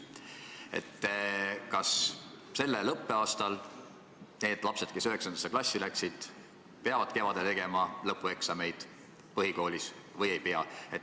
Kas sellel õppeaastal need lapsed, kes 9. klassi läksid, peavad kevadel tegema põhikooli lõpueksameid või ei pea?